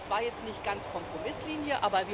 Das war jetzt nicht ganz Kompromisslinie.